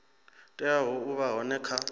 teaho u vha hone kha